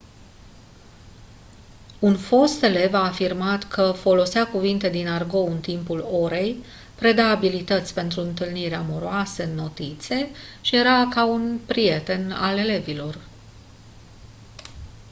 un fost elev a afirmat că folosea cuvinte din argou în timpul orei preda abilități pentru întâlniri amoroase în notițe și era ca un «prieten» al elevilor